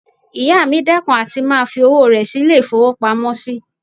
Ìyá mi dẹ́kun àti máa fi owó rẹ̀ sí ilé-ìfowópamọ́sí